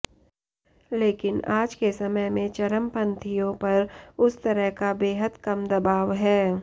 लेकिन आज के समय में चरमपंथियों पर उस तरह का बेहद कम दबाव है